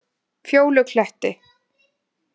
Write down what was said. Fjólukletti